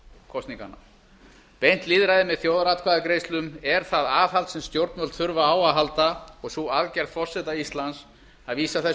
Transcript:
kosninganna beint lýðræði með þjóðaratkvæðagreiðslum er það aðhald sem stjórnvöld þurfa á að halda og sú aðgerð forseta íslands að vísa þessu